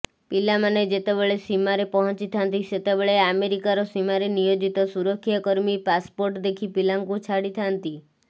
ପିଲାମାନେ ଯେତେବେଳେ ସୀମାରେ ପହଞ୍ଚିଥାନ୍ତି ସେତେବେଳେ ଆମେରିକାର ସୀମାରେ ନିୟୋଜିତ ସୁରକ୍ଷାକର୍ମୀ ପାସପୋର୍ଟ ଦେଖି ପିଲାଙ୍କୁ ଛାଡିଥାନ୍ତି